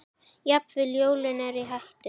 Jafnvel jólin eru í hættu.